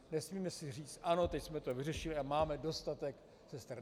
Nesmíme si říct ano, teď jsme to vyřešili a máme dostatek sester.